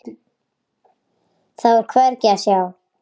Þá er hvergi að sjá.